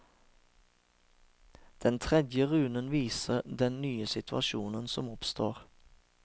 Den tredje runen viser den nye situasjonen som oppstår.